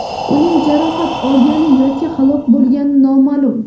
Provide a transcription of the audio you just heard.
Uning jarohat olgani yoki halok bo‘lgani noma’lum.